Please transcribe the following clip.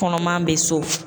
Kɔnɔman be so.